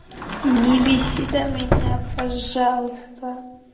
не беси да меня пожалуйста